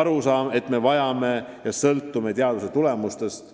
Arusaam, et me sõltume teaduse tulemustest,